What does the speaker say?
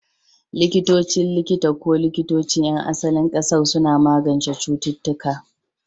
Likitocin likita ko likitocin 'yan asalin ƙasar suna magance cututtuka.